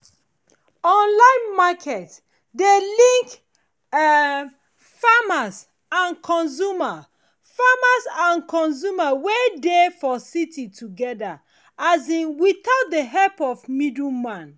online market dey link um farmers and consumers farmers and consumers wey dey for city together um without the help of middle man